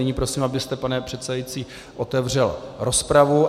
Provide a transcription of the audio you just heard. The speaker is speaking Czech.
Nyní prosím, abyste pane předsedající otevřel rozpravu.